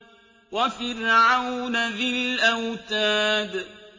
وَفِرْعَوْنَ ذِي الْأَوْتَادِ